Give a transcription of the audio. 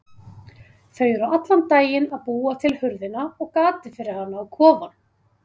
Þau eru allan daginn að búa til hurðina og gatið fyrir hana á kofann.